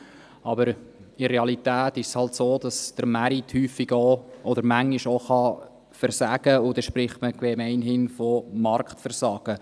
Aber in der Realität ist es halt so, dass der Markt manchmal auch versagen kann, und dann spricht man gemeinhin von Marktversagen.